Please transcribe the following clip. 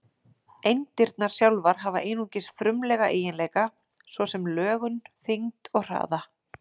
Eindirnar sjálfar hafa einungis frumlega eiginleika, svo sem lögun, þyngd og hraða.